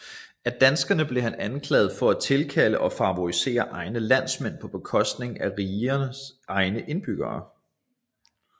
Af danskerne blev han anklaget for at tilkalde og favorisere egne landsmænd på bekostning af rigernes egne indbyggere